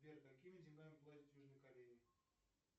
сбер какими деньгами платят в южной корее